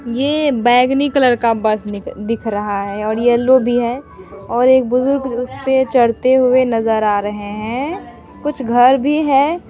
ये बेगनी कलर का बस दिख दिख रहा है और येल्लो भी है और एक बुजुर्ग उसपे चढ़ते हुए नजर आ रहे है कुछ घर भी हैं ।